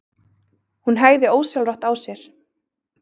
Hún hægði ósjálfrátt á sér.